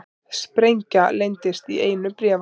Sprengja leyndist í einu bréfanna